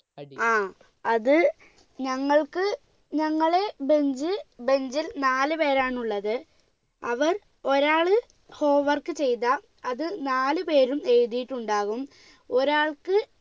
ആ അത് ഞങ്ങൾക്ക് ഞങ്ങളെ bench bench ൽ നാലു പേരാണുള്ളത് അവർ ഒരാള് home work ചെയ്താ അത് നാലു പേരും എഴുതിയിട്ടുണ്ടാവും ഒരാൾക്ക്